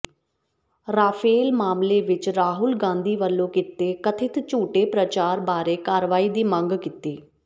Rafale ਮਾਮਲੇ ਵਿੱਚ ਰਾਹੁਲ ਗਾਂਧੀ ਵੱਲੋਂ ਕੀਤੇ ਕਥਿਤ ਝੂਠੇ ਪ੍ਰਚਾਰ ਬਾਰੇ ਕਾਰਵਾਈ ਦੀ ਮੰਗ ਕੀਤੀ